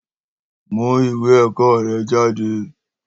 Mú ìwé ẹ̀kọ́ rẹ jáde